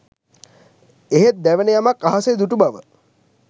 එහෙත් දැවෙන යමක් අහසේ දුටු බව